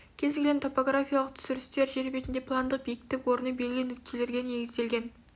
кез келген топографиялық түсірістер жер бетінде пландық биіктік орны белгілі нүктелерге негізделген